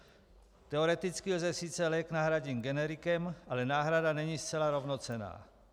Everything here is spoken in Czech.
Teoreticky lze sice lék nahradit generikem, ale náhrada není zcela rovnocenná.